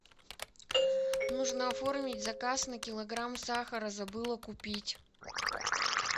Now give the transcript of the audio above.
нужно оформить заказ на килограмм сахара забыла купить